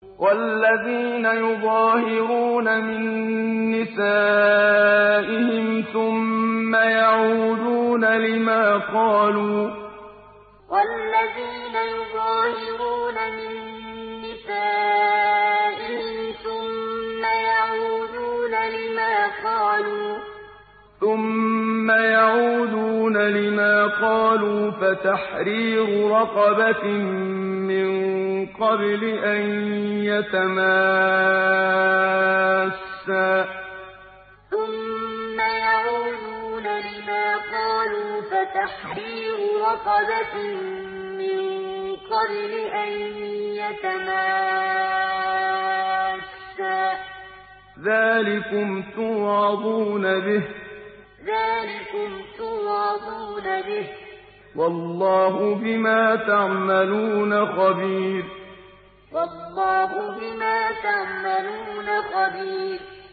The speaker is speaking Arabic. وَالَّذِينَ يُظَاهِرُونَ مِن نِّسَائِهِمْ ثُمَّ يَعُودُونَ لِمَا قَالُوا فَتَحْرِيرُ رَقَبَةٍ مِّن قَبْلِ أَن يَتَمَاسَّا ۚ ذَٰلِكُمْ تُوعَظُونَ بِهِ ۚ وَاللَّهُ بِمَا تَعْمَلُونَ خَبِيرٌ وَالَّذِينَ يُظَاهِرُونَ مِن نِّسَائِهِمْ ثُمَّ يَعُودُونَ لِمَا قَالُوا فَتَحْرِيرُ رَقَبَةٍ مِّن قَبْلِ أَن يَتَمَاسَّا ۚ ذَٰلِكُمْ تُوعَظُونَ بِهِ ۚ وَاللَّهُ بِمَا تَعْمَلُونَ خَبِيرٌ